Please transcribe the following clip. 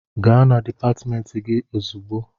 Gaa na dịpatmentị gị ozugbo!